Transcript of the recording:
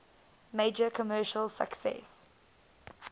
major commercial success